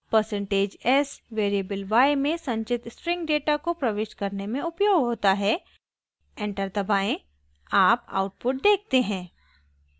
percentage s %s variable y में संचित string data को प्रविष्ट करने में उपयोग होता है एंटर दबाएं आप आउटपुट देखते हैं